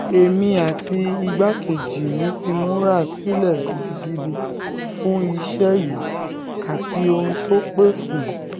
èmi àti igbákejì mi ti múra sílẹ̀ gidigidi fún iṣẹ́ yìí àti ohun tó pẹ́ fún